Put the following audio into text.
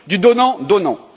Du donnant donnant.